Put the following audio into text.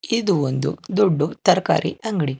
ಇದು ಒಂದು ದೊಡ್ದು ತರ್ಕಾರಿ ಅಂಗ್ಡಿ.